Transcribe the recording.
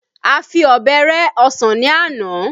A fi ọbẹ̀ rẹ ọsàn ní àná